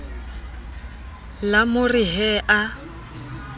la mo re he a